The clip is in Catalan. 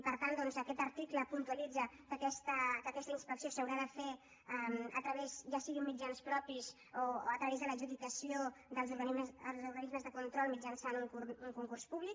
per tant aquest article puntualitza que aquesta inspecció s’haurà de fer ja sigui amb mitjans propis o a través de l’adjudicació dels organismes de control mitjançant un concurs públic